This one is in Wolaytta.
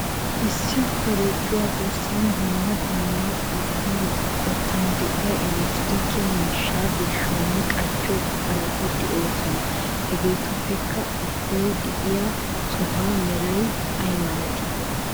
Issi korojjuwa garssan dumma dumma a qottan qottan de'iya elekitronike mishshata birshshiyonne qachchiyo buqurati de'oosona. Hegeetuppekka ubbay de'iyp sohuwa meray aymalati?